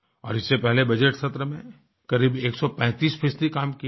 और इससे पहले बजटसत्र में करीब 135 फ़ीसदी काम किया था